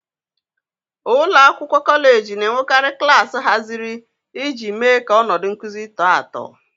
.Ụlọ akwụkwọ kọleji na-enwekarị klaasị haziri iji mee ka ọnọdụ nkuzi tọọ atọ.